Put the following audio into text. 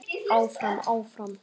Áfram, áfram.